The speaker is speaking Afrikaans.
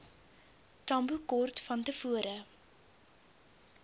tambo kort vantevore